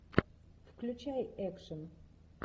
включай экшн